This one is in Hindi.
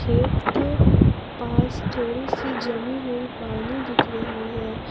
खेत के पास थोड़ी सी जमी हुई पानी दिख रही है।